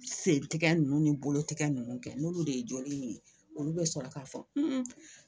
Sen tigɛ nunnu ni bolo tigɛ nunnu kɛ n'olu de ye jɔliw ye olu be sɔrɔ k'a fɔ